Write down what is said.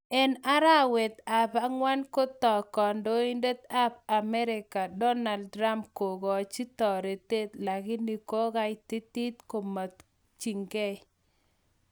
en araweet ap angwan kotaag kandoindet ap America Donald Trump kogachi taretet lakini kogaititiit magutikchig